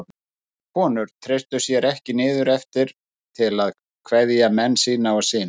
Sumar konur treystu sér ekki niður eftir til að kveðja menn sína og syni.